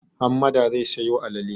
Hammada zai sayo alale.